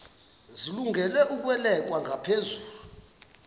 zilungele ukwalekwa ngaphezulu